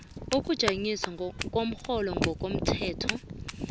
ukujanyiswa komrholo ngokomthetho